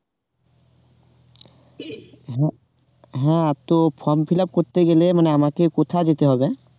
হ্যাঁ তো form fill up করতে গেলে মানে আমাকে কোথায় যেতে হবে?